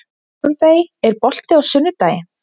Torfey, er bolti á sunnudaginn?